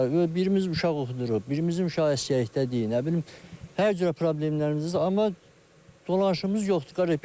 Birimiz uşaq oxudurur, birimiz uşaq əsgərlikdədi, nə bilim, hər cürə problemlərimiz var, amma dolanışımız yoxdur, qardaş.